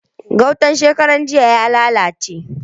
Gautan shekarar jiya ya lalace.